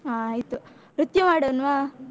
ಹಾ ಆಯ್ತು, ನೃತ್ಯ ಮಾಡೋಣ್ವಾ?